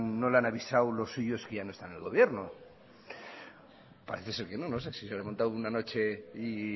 no le han avisado los suyos que ya no está en el gobierno parece ser que no no sé si lo comentaron una noche y